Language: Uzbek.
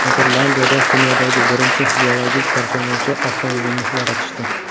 Niderlandiyada dunyodagi birinchi biologik parchalanuvchi avtomobilni yaratishdi.